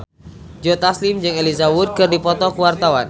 Joe Taslim jeung Elijah Wood keur dipoto ku wartawan